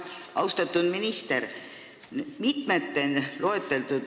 Austatud minister!